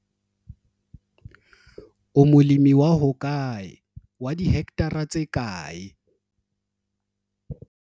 O molemi wa hokae, wa dihekthara tse kae?